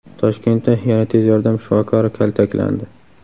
Toshkentda yana tez yordam shifokori kaltaklandi.